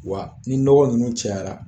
Wa ni nɔgɔ ninnu cayara.